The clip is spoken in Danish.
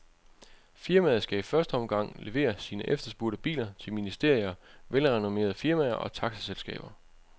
Firmaet skal i første omgang levere sine efterspurgte biler til ministerier, velrenomerede firmaer og taxaselskaber.